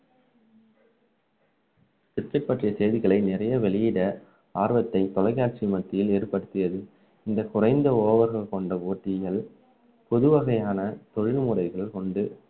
cricket பற்றிய செய்திகளை நிறைய வெளியிட ஆர்வத்தை தொலைக்காட்சி மத்தியில் ஏற்படுத்தியது இந்த குறைந்த over கள் கொண்ட போட்டிகள் புதுவகையான தொழில்முறைகள் கொண்டு